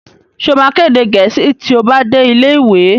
Sọ ma ka èdè Gẹ̀ẹ́sì tí ó bá dé ilé ìwé?